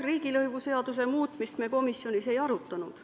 Riigilõivuseaduse muutmist me komisjonis ei arutanud.